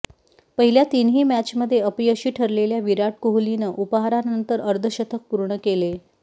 पहिल्या तीनही मॅचमध्ये अपयशी ठरलेल्या विराट कोहलीने उपहारानंतर अर्धशतक पूर्ण केले